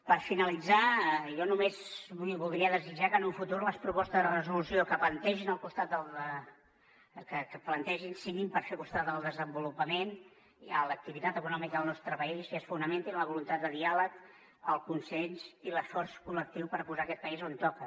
per finalitzar jo només voldria desitjar que en el futur les propostes de resolució que plantegin siguin per fer costat al desenvolupament i a l’activitat econòmica del nostre país i es fonamentin en la voluntat de diàleg el consens i l’esforç col·lectiu per posar aquest país on toca